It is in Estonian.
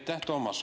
Aitäh, Toomas!